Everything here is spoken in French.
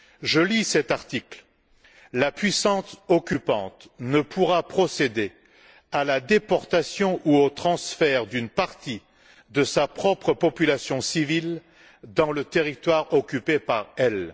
Je lis cet article La puissance occupante ne pourra procéder à la déportation ou au transfert d'une partie de sa propre population civile dans le territoire occupé par elle.